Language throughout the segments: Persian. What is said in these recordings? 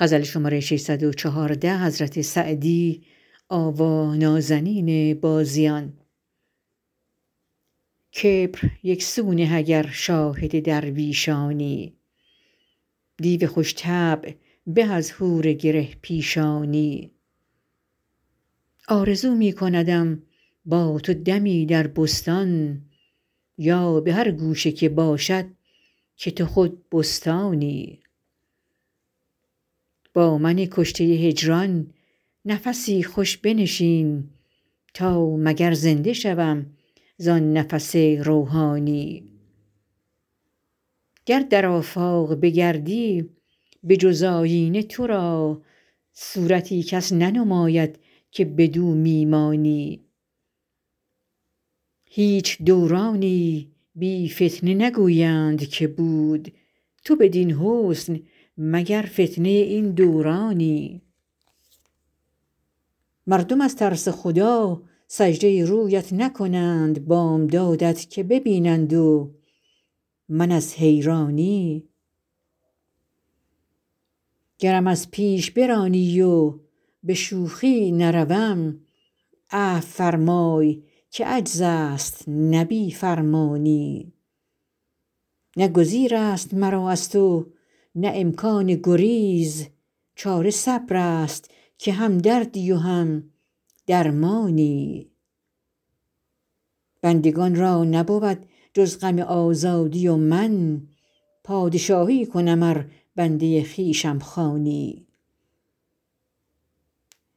کبر یک سو نه اگر شاهد درویشانی دیو خوش طبع به از حور گره پیشانی آرزو می کندم با تو دمی در بستان یا به هر گوشه که باشد که تو خود بستانی با من کشته هجران نفسی خوش بنشین تا مگر زنده شوم زآن نفس روحانی گر در آفاق بگردی به جز آیینه تو را صورتی کس ننماید که بدو می مانی هیچ دورانی بی فتنه نگویند که بود تو بدین حسن مگر فتنه این دورانی مردم از ترس خدا سجده رویت نکنند بامدادت که ببینند و من از حیرانی گرم از پیش برانی و به شوخی نروم عفو فرمای که عجز است نه بی فرمانی نه گزیر است مرا از تو نه امکان گریز چاره صبر است که هم دردی و هم درمانی بندگان را نبود جز غم آزادی و من پادشاهی کنم ار بنده خویشم خوانی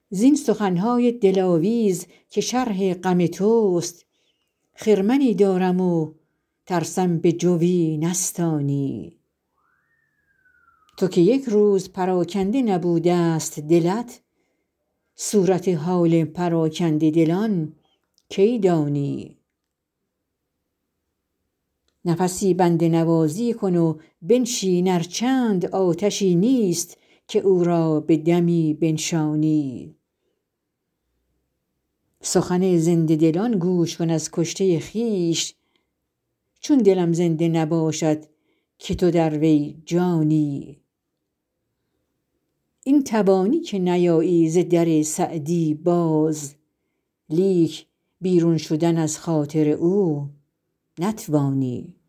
زین سخن های دلاویز که شرح غم توست خرمنی دارم و ترسم به جوی نستانی تو که یک روز پراکنده نبوده ست دلت صورت حال پراکنده دلان کی دانی نفسی بنده نوازی کن و بنشین ار چند آتشی نیست که او را به دمی بنشانی سخن زنده دلان گوش کن از کشته خویش چون دلم زنده نباشد که تو در وی جانی این توانی که نیایی ز در سعدی باز لیک بیرون روی از خاطر او نتوانی